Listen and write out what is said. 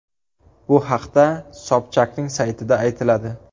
Bu haqda Sobchakning saytida aytiladi .